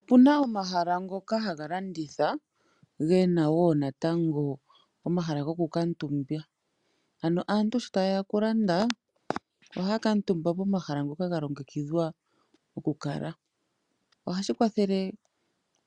Opuna omahala ngoka haga landitha gena woo natango omahala goku kaantumba. Ano aantu sho taye ya okulanda ohaya kaantumba pomahala mpoka galongekidhwa okukala. Ohashi kwathele